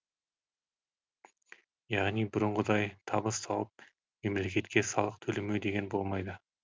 яғни бұрынғыдай табыс тауып мемлекетке салық төлемеу деген болмайды